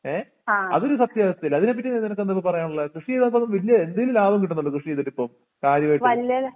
ഏഹ് അതോര്സത്യാവസ്ഥയല്ലേ അതിനെപ്പറ്റിനി നിനക്കെന്തായിപറയാനുള്ളേ കൃഷി ചെയ്തായിപ്പംഎന്തേലും ലാഭം കിട്ടുന്നുണ്ടോ കൃഷിചെയ്തിട്ടിപ്പം കാര്യവായിട്ട്